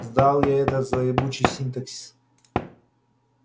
сдал я этот злоебучий синтаксис